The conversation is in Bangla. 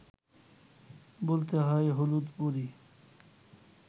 বলতে হয় হলুদপরি